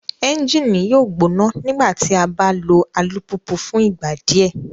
Ẹnjini yoo gbona nigbati a ba lo alupupu fun igba diẹ